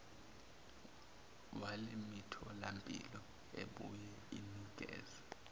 walemitholampilo ebuye inikeze